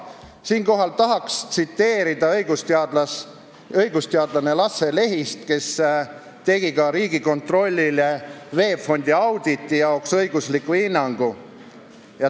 Siinkohal tahan tsiteerida õigusteadlast Lasse Lehist, kes koostas Riigikontrollile VEB Fondi auditi jaoks õigusliku hinnangu.